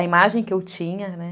A imagem que eu tinha, né?